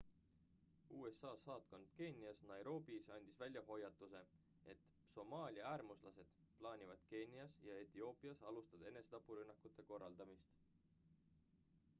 usa saatkond keenias nairobis andis välja hoiatuse et somaalia äärmuslased plaanivad keenias ja etioopias alustada enesetapurünnakute korraldamist